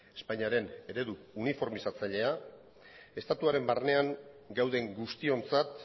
espainiaren eredu uniformizatzailea estatuaren barnean gauden guztiontzat